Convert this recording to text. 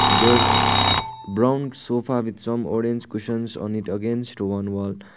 there is brown sofa with some orange cushions on it against one wall.